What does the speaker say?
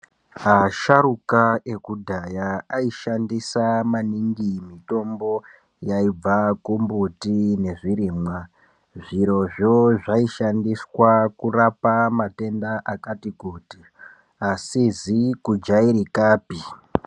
Asharuka ekudhaya aishandisa maningi mitombo yaibva kumbuti nezvirimwa. Zvirozvo zvaishandiswa kurapa matenda akati kuti asizi kujairikapi.